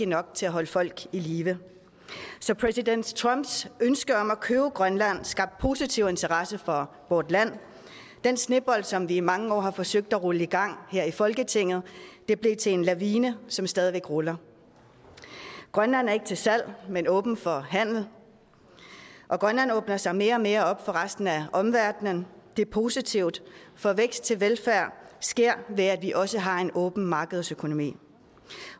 nok til at holde folk i live så præsident trumps ønske om at købe grønland skabte positiv interesse for vort land den snebold som vi i mange år har forsøgt at rulle i gang her i folketinget blev til en lavine som stadigvæk ruller grønland er ikke til salg men åben for handel og grønland åbner sig mere og mere op for resten af omverdenen det er positivt for vækst til velfærd sker ved at vi også har en åben markedsøkonomi